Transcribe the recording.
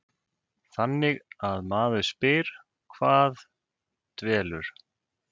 Þannig að maður spyr, hvað dvelur?